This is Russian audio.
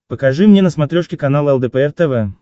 покажи мне на смотрешке канал лдпр тв